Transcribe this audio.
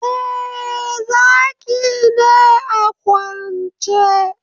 Eh, Zaki ne a kwance